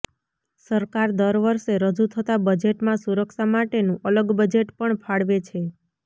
સરકાર દર વર્ષે રજૂ થતા બજેટમાં સુરક્ષા માટેનું અલગ બજેટ પણ ફાળવે છે